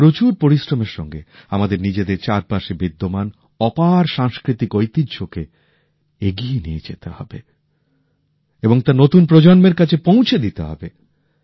প্রচুর পরিশ্রমের সঙ্গে আমাদের নিজেদের চারপাশে বিদ্যমান অপার সাংস্কৃতিক ঐতিহ্যকে এগিয়ে নিয়ে যেতে হবে এবং তা নতুন প্রজন্মের কাছে পৌঁছে দিতে হবে